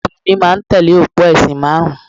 Àwọn Mùsùlùmí máa ń tẹ̀lé òpó ẹ̀sìn márùn-ún